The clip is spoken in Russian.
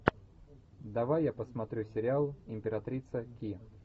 давай я посмотрю сериал императрица ки